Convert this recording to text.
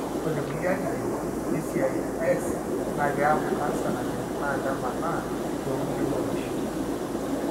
ore tekulie atitin, DCIS na kiaku canser naajing na nemaana tokulie morioshi.